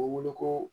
U bɛ wele ko